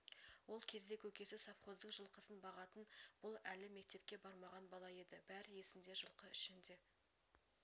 ол кезде көкесі совхоздың жылқысын бағатын бұл әлі мектепке бармаған бала еді бәрі есінде жылқы ішінде